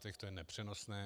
To je nepřenosné.